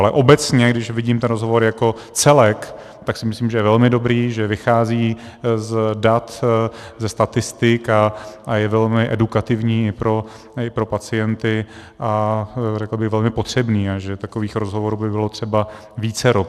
Ale obecně, když vidím ten rozhovor jako celek, tak si myslím, že je velmi dobrý, že vychází z dat, ze statistik, a je velmi edukativní i pro pacienty a řekl bych velmi potřebný a že takových rozhovorů by bylo třeba vícero.